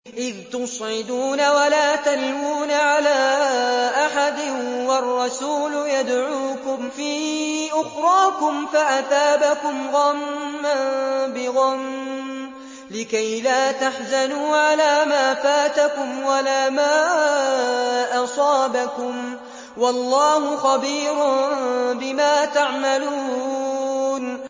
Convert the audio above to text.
۞ إِذْ تُصْعِدُونَ وَلَا تَلْوُونَ عَلَىٰ أَحَدٍ وَالرَّسُولُ يَدْعُوكُمْ فِي أُخْرَاكُمْ فَأَثَابَكُمْ غَمًّا بِغَمٍّ لِّكَيْلَا تَحْزَنُوا عَلَىٰ مَا فَاتَكُمْ وَلَا مَا أَصَابَكُمْ ۗ وَاللَّهُ خَبِيرٌ بِمَا تَعْمَلُونَ